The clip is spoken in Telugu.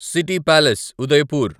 city palace Udaipur